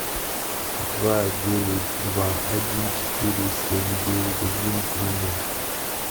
два девять два один четыре семь девять один три ноль